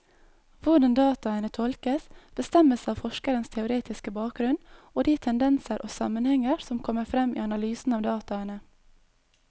Hvordan dataene tolkes, bestemmes av forskerens teoretiske bakgrunnen og de tendenser og sammenhenger som kommer frem i analysen av dataene.